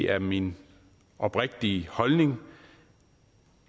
er min oprigtige holdning